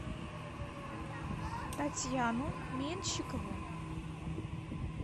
татьяну менщикову